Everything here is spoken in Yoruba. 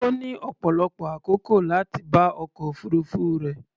Ó ní ọ̀pọ̀lọpọ̀ àkókò láti bá ọkọ̀ òfuruufú rẹ̀.